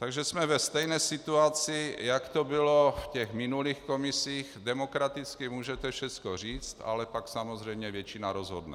Takže jsme ve stejné situaci, jak to bylo v těch minulých komisích: demokraticky můžete všechno říct, ale pak samozřejmě většina rozhodne.